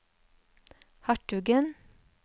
hertugen